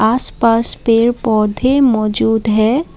आसपास पेड़ पौधे मौजूद हैं।